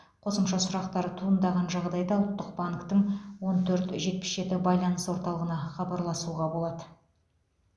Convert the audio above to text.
қосымша сұрақтар туындаған жағдайда ұлттық банктің он төрт жетпіс жеті байланыс орталығына хабарласуға болады